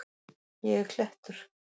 Ég er klettur.